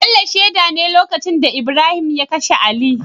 Bello sheda ne lokacin da Ibrahim ya kashe ali